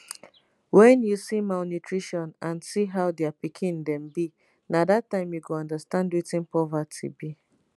wen you see malnutrition and see how dia pikin dem be na dat time you go understand wetin poverty be."